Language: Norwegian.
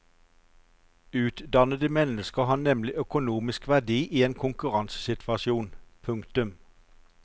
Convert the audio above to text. Utdannede mennesker har nemlig økonomisk verdi i en konkurransesituasjon. punktum